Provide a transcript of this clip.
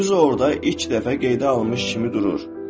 Düz orda ilk dəfə qeydə alınmış kimi durur.